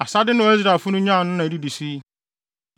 Asade no a Israelfo no nyaa no na edidi so yi: